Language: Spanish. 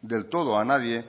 del todo a nadie